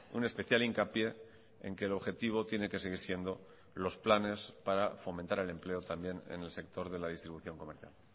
un especial hincapié en que el objetivo tiene que seguir siendo los planes para fomentar el empleo también en el sector de la distribución comercial